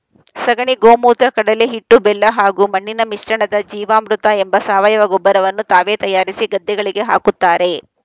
ಸಗಣಿ ಗೋಮೂತ್ರ ಕಡಲೆಹಿಟ್ಟು ಬೆಲ್ಲ ಹಾಗೂ ಮಣ್ಣಿನ ಮಿಶ್ರಣದ ಜೀವಾಮೃತ ಎಂಬ ಸಾವಯವ ಗೊಬ್ಬರವನ್ನು ತಾವೇ ತಯಾರಿಸಿ ಗದ್ದೆಗಳಿಗೆ ಹಾಕುತ್ತಾರೆ